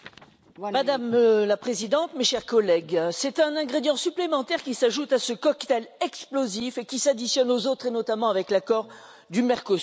Madame la Présidente, mes chers collègues, c'est un ingrédient supplémentaire qui s'ajoute à ce cocktail explosif et qui s'additionne aux autres, notamment l'accord du Mercosur.